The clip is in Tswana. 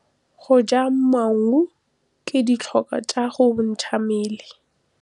Go ja maungo ke ditlhokegô tsa go nontsha mmele.